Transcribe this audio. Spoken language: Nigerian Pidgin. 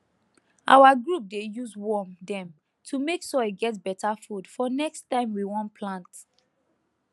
our group dey use worm dem to make soil get better food for next time we wan plant